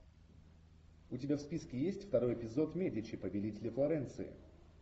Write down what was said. у тебя в списке есть второй эпизод медичи победители флоренции